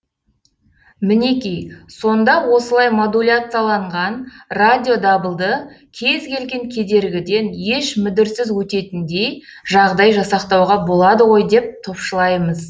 мінеки сонда осылай модуляцияланған радиодабылды кез келген кедергіден еш мүдіріссіз өтетіндей жағдай жасақтауға болады ғой деп топшылаймыз